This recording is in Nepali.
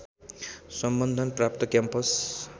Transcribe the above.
सम्बन्धन प्राप्त क्याम्पस